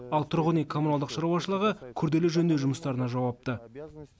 ал тұрғын үй коммуналдық шаруашылығы күрделі жөндеу жұмыстарына жауапты